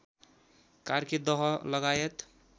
कार्के दह लगायत